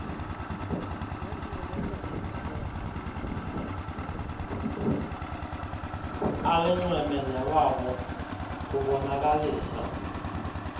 alinxweme newabo kubonakalisa